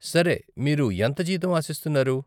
సరే, మీరు ఎంత జీతం ఆశిస్తున్నారు?